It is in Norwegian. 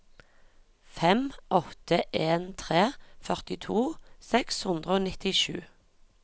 fem åtte en tre førtito seks hundre og nittisju